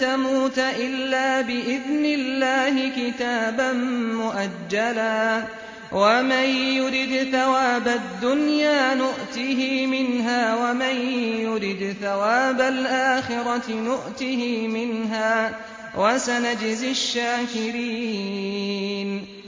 تَمُوتَ إِلَّا بِإِذْنِ اللَّهِ كِتَابًا مُّؤَجَّلًا ۗ وَمَن يُرِدْ ثَوَابَ الدُّنْيَا نُؤْتِهِ مِنْهَا وَمَن يُرِدْ ثَوَابَ الْآخِرَةِ نُؤْتِهِ مِنْهَا ۚ وَسَنَجْزِي الشَّاكِرِينَ